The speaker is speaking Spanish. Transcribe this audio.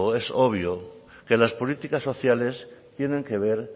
es obvio que las políticas sociales tienen que ver